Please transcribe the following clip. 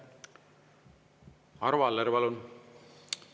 Arvo Aller, palun!